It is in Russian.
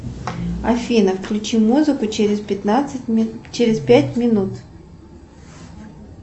афина включи музыку через пять минут